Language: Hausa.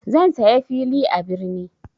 Zan saya fili a birni.